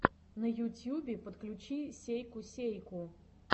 на ютюбе подключи сейку сейку